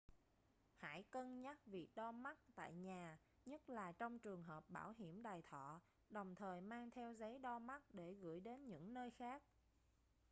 hãy cân nhắc việc đo mắt tại nhà nhất là trong trường hợp bảo hiểm đài thọ đồng thời mang theo giấy đo mắt để gửi đến những nơi khác